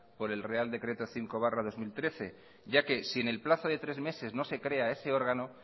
por el real decreto cinco barra dos mil trece ya que si en el plazo de tres meses no se crea ese órgano